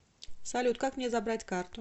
салют как мне забрать карту